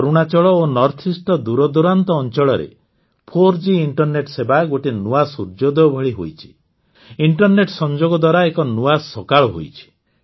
ଅରୁଣାଚଳ ଓ ନର୍ଥଇଷ୍ଟର ଦୂରଦୂରାନ୍ତ ଅଂଚଳରେ ୪ଜି ଇଣ୍ଟରନେଟ ସେବା ଗୋଟାଏ ନୂଆ ସୁର୍ୟୋଦୟ ଭଳି ହୋଇଛି ଇଣ୍ଟରନେଟ୍ ସଂଯୋଗ ଦ୍ୱାରା ଏକ ନୂଆ ସକାଳ ହୋଇଛି